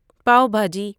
pav bhaji